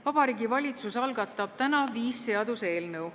Vabariigi Valitsus algatab täna viis seaduseelnõu.